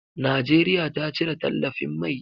Najeriya ta cire talafin mai.